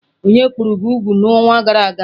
Onye kpụrụ gị úgwù n'ọnwa gara aga?